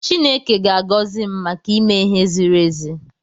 Chineke ga-agọzi m maka ime ihe ziri ezi.